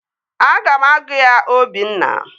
Aga m agụ ya Obinna